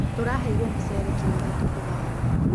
Tũraheirwo mũcere kiro ithatũ tũgayane.